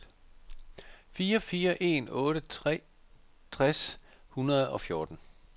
fire fire en otte tres tre hundrede og fjorten